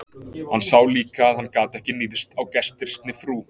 Hann sá líka að hann gat ekki níðst á gestrisni frú